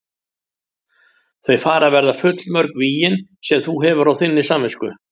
Þau fara að verða full mörg vígin sem þú hefur á þinni samvisku.